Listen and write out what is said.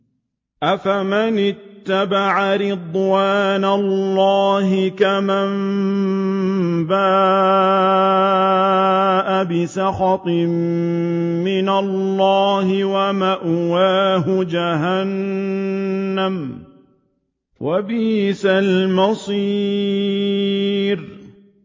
أَفَمَنِ اتَّبَعَ رِضْوَانَ اللَّهِ كَمَن بَاءَ بِسَخَطٍ مِّنَ اللَّهِ وَمَأْوَاهُ جَهَنَّمُ ۚ وَبِئْسَ الْمَصِيرُ